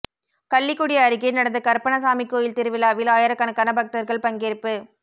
கள்ளிக்குடி அருகே நடந்த கருப்பணசாமி கோயில் திருவிழாவில் ஆயிரக்கணக்கான பக்தர்கள் பங்கேற்பு